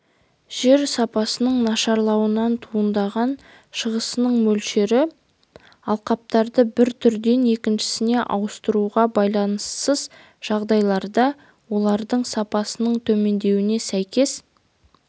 жер сапасының нашарлауынан туындаған шығасының мөлшері алқаптарды бір түрден екіншісіне ауыстыруға байланыссыз жағдайларда олардың сапасының төмендеуіне сәйкес